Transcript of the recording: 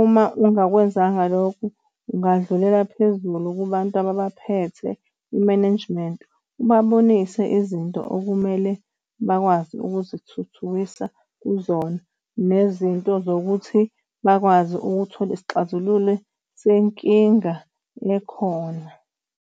Uma ungakwenzanga lokho ungadlulela phezulu kubantu ababaphethe, i-management, ubabonise izinto okumele bakwazi ukuzithuthukisa kuzona nezinto zokuthi bakwazi ukuthola isixazululo senkinga ekhona.